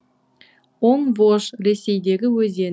оң вож ресейдегі өзен